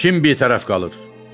Kim bitərəf qalır?